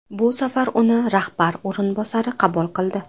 Bu safar uni rahbar o‘rinbosari qabul qildi.